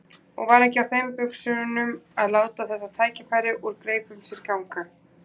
Og var ekki á þeim buxunum að láta þetta tækifæri úr greipum sér ganga.